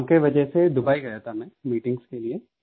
काम की वजह से दुबई गया था मैं मीटिंग्स के लिए